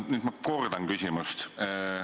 Nüüd ma kordan küsimust.